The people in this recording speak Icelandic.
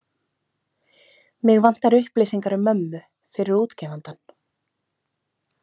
Mig vantar upplýsingar um mömmu, fyrir útgefandann.